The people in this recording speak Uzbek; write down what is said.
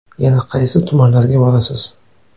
Yana qaysi tumanlarga borasiz?